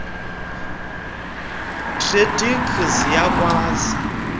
credit guarantee ziyakwazi